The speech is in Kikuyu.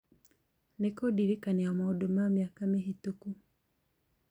nĩ kũndirikania maũndũ ma mĩaka mĩhĩtũku